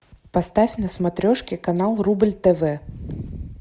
поставь на смотрешке канал рубль тв